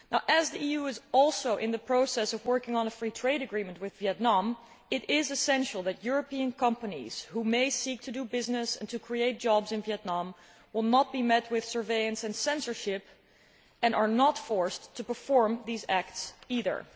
As the EU is also in the process of working on a free trade agreement with Vietnam, it is essential that European companies seeking to do business and to create jobs in Vietnam will not be met with surveillance and censorship, and are not forced to perform these acts either.